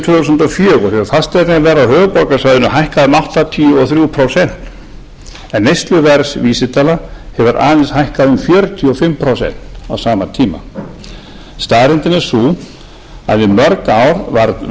þúsund og fjögur hefur fasteignaverð á höfuðborgarsvæðinu hækkað um áttatíu og þrjú prósent en neysluverðsvísitala hefur aðeins hækkað um fjörutíu og fimm prósent á sama tíma staðreyndin er sú að í mörg ár var